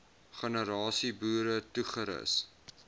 generasie boere toegerus